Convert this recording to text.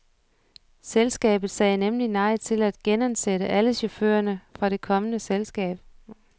Selskabet sagde nemlig nej til at genansætte alle chaufførerne fra det kommunale selskab.